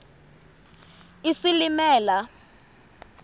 isilimela